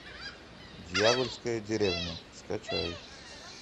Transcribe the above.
дьявольская деревня скачай